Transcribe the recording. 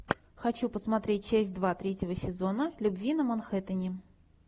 хочу посмотреть часть два третьего сезона любви на манхэттене